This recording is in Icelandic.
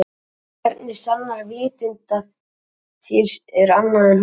Hvernig sannar vitund að til er annað en hún?